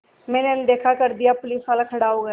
मैंने अनदेखा कर दिया पुलिसवाला खड़ा हो गया